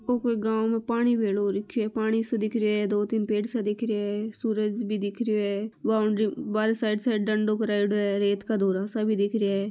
ओ कोई गाव में पानी भेलो रख्यो है पानी सो दिख रिया है दो तीन पेड़ सा दिख रिया है सूरज भी दिख रियो है बाउंड्री बारे साइड-साइड डंडो करायोडो है रेत का धोरा सा भी दिख रिया है।